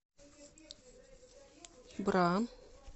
бра